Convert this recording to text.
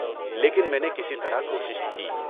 لیکن میں نے کسی طرح کوشش کی۔